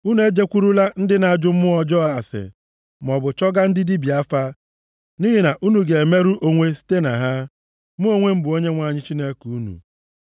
“ ‘Unu ejekwurula ndị na-ajụ mmụọ ọjọọ ase maọbụ chọgaa ndị dibịa afa, nʼihi na unu ga-emerụ onwe site na ha. Mụ onwe m bụ Onyenwe anyị Chineke unu.